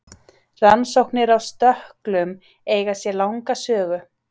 Rannsóknir á stökklum eiga sér langa sögu.